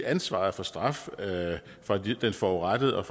ansvaret for straf fra den forurettede og